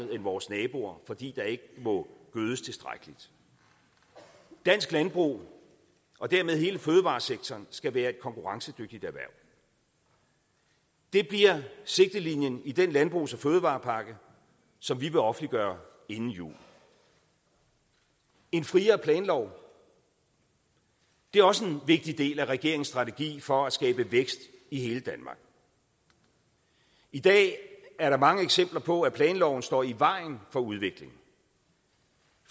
vores naboer fordi der ikke må gødes tilstrækkeligt dansk landbrug og dermed hele fødevaresektoren skal være et konkurrencedygtigt erhverv det bliver sigtelinjen i den landbrugs og fødevarepakke som vi vil offentliggøre inden jul en friere planlov er også en vigtig del af regeringens strategi for at skabe vækst i hele danmark i dag er der mange eksempler på at planloven står i vejen for udvikling